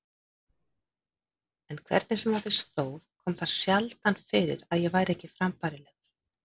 En hvernig sem á því stóð kom það sjaldan fyrir að ég væri ekki frambærilegur.